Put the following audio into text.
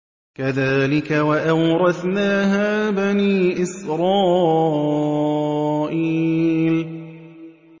كَذَٰلِكَ وَأَوْرَثْنَاهَا بَنِي إِسْرَائِيلَ